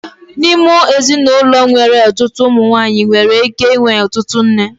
N'ime ezinụlọ nwere ọtụtụ nwanyị, enwere ike ịnwe ọtụtụ nne.